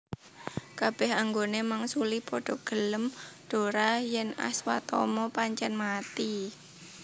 Kabeh anggone mangsuli padha gelem dhora yen Aswatama pancen mati